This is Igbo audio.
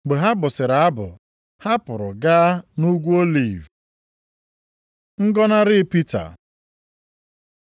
Mgbe ha bụsịrị abụ, ha pụrụ gaa nʼUgwu Oliv. Ngọnarị Pita